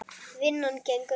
Vinnan gengur vel.